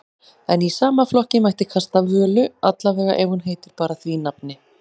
En í sama flokki mætti kasta Völu, allavega ef hún heitir bara því nafni.